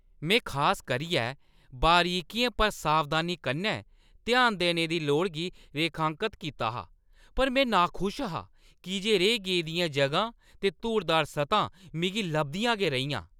में खास करियै बरीकियें पर सावधानी कन्नै ध्यान देने दी लोड़ गी रेखांकत कीता हा पर में नाखुश हा की जे रेही गेदियां जगहां ते धूड़दार सतहां मिगी लभदियां गै रेहियां।